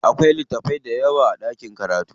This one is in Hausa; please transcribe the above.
Akwai littatafai dayawa a ɗakin karatu.